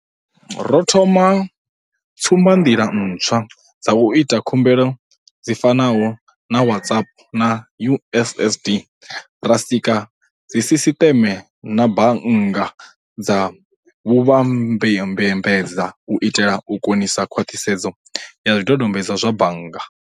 Ro thoma tsumbanḓila ntswa dza u ita khumbelo dzi fanaho na WhatsApp na USSD, ra sika dzisisiṱeme na bannga dza vhuvhambadzi u itela u konisa khwaṱhisedzo ya zwidodombedzwa zwa bannga.